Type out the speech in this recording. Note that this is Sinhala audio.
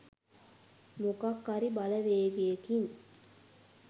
මොකක් හරි බලවේගයකින්